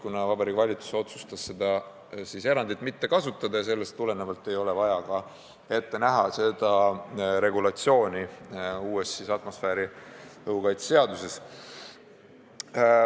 Kuna Vabariigi Valitsus otsustas seda erandit mitte kasutada, siis ei ole vaja ka ette näha seda regulatsiooni uues atmosfääriõhu kaitse seaduses.